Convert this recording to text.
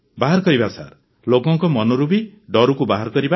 ବାହାର କରିବା ସାର୍ ଲୋକଙ୍କ ମନରୁ ବି ଡରକୁ ବାହାର କରିବା ସାର୍